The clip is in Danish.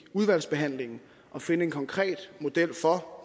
udvalgsbehandlingen at finde en konkret model for